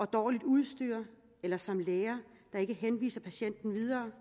dårligt udstyr eller som læger ikke henvise patienten videre